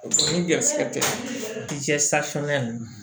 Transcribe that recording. Ni garisigɛ tɛ safunɛ ninnu